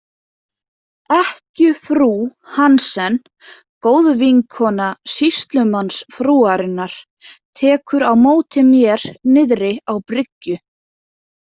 Ekkjufrú Hansen, góðvinkona sýslumannsfrúarinnar, tekur á móti mér niðri á bryggju.